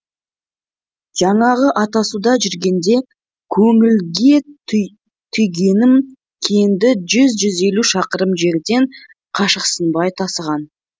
жаңағы атасуда жүргенде көңілге түйгенім кенді жүз жүз елу шақырым жерден қашықсынбай тасыған